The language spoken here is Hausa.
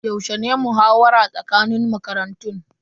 Yaushe ne muhawara tsakanin makarantun?